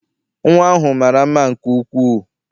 Nnwa ahụ mara mma nke ukwuu.